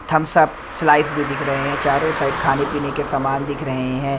Thums Up slice भी दिख रहे हैं चारों साइड खाने-पीने के सामान दिख रहे हैं।